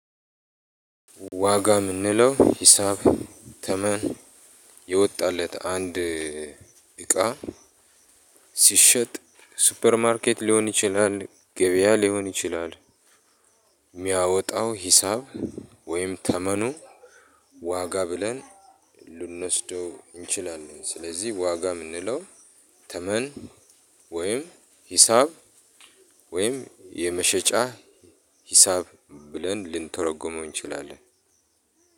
ዋጋ የምንለው ሂሳብ ተመን የወጣለት አንድ እቃ ሲሸጥ ሱፐር ማርኬት ሊሆን ይችላል ገበያ ሊሆን ይችላል። የሚያወጣው ሂሳብ ወይም ተመኑ ዋጋ ብለን ልንወስደው እንችላለን። ስለዚህ ዋጋ የምንለው ተመን ወይም ሂሳብ ወይም የመሸጫ ሂሳብ ብለን ልንተረጎመው እንችላለን።